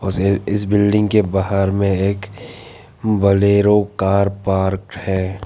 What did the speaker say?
इसे इस बिल्डिंग के बाहर में एक बलेरो कर पार्कड है।